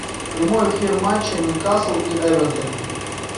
прямой эфир матча ньюкасл и эвертон